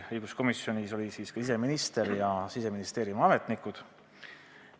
Õiguskomisjonis olid kohal siseminister ja Siseministeeriumi ametnikud.